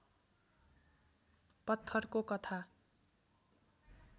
पत्थरको कथा